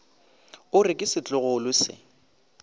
o re ke setlogolo se